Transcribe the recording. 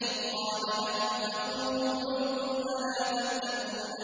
إِذْ قَالَ لَهُمْ أَخُوهُمْ لُوطٌ أَلَا تَتَّقُونَ